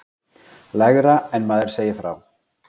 Lægra en maður segir frá.